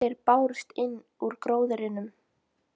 Raddir bárust innan úr gróðrinum.